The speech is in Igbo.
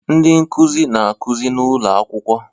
Ndị nkuzi na-akụzi n'ụlọ akwụkwọ